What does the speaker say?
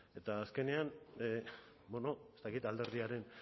eta azkenean ez dakit alderdiaren